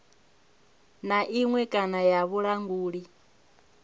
na iṅwe kana ya vhulanguli